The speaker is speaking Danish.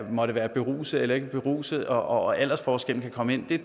måtte være beruset eller ikke beruset og hvor aldersforskellen kan komme ind har